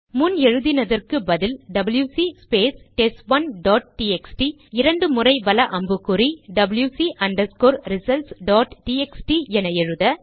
முன்பு எழுதினதற்கு பதில் WC space test 1 dot TXT இரண்டு முறைவல அம்புக்குறி WC underscore results dot TXT என எழுத